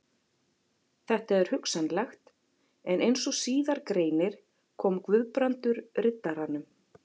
Þetta er hugsanlegt, en eins og síðar greinir kom Guðbrandur Riddaranum